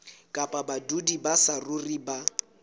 kapa badudi ba saruri ba